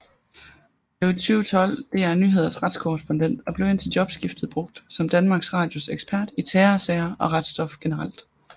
Blev i 2012 DR Nyheders retskorrespondent og blev indtil jobskiftet brugt som Danmarks Radios ekspert i terrorsager og retsstof generelt